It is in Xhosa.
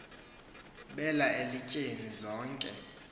bela elityeni zonke